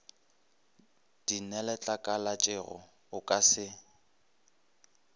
di neletlakalatšego o ka se